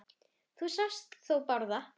Þú sást þó Bárð?